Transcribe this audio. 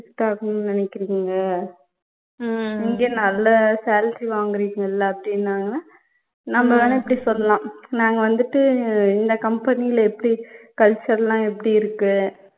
shift ஆகணுன்னு நினைக்கிறிங்க இங்க நல்ல salary வாங்குறிங்கல்ல அப்படின்னாங்கன்னா நம்ப வேணா இப்படி சொல்லலாம் நாங்க வந்துட்டு இந்த company ல எப்படி culture லாம் எப்படி இருக்கு